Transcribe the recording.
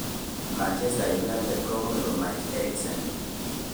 Manchester United komuch komach Eriksen.